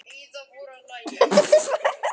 Málarðu hér?